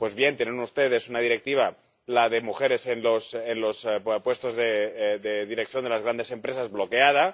Pues bien, tienen ustedes una Directiva, la de mujeres en los puestos de dirección de las grandes empresas, bloqueada.